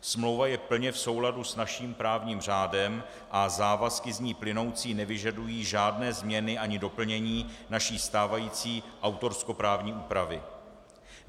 Smlouva je plně v souladu s naším právním řádem a závazky z ní plynoucí nevyžadují žádné změny ani doplnění naší stávající autorskoprávní úpravy.